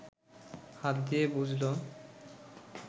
হাত দিয়ে বুঝল